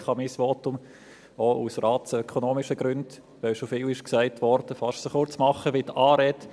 Ich kann mein Votum auch aus ratsökonomischen Gründen, weil schon viel gesagt wurde, fast so kurz machen, wie die Anrede.